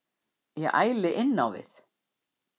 Ég æli innávið.